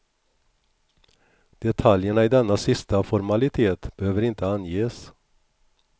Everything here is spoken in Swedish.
Detaljerna i denna sista formalitet behöver inte anges.